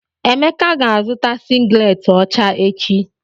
Emeka ga-azụta sịgiletị ọcha echi.